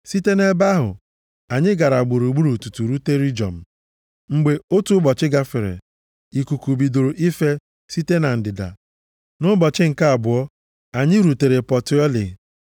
Site nʼebe ahụ, anyị gara gburugburu tutu rute Rejiọm. Mgbe otu ụbọchị gafere, ikuku bidoro ife site na ndịda. Nʼụbọchị nke abụọ ya, anyị rutere Pọteọlị.